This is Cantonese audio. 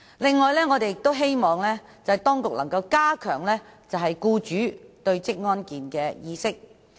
此外，我們亦希望當局能加強僱主對職業安全健康的意識。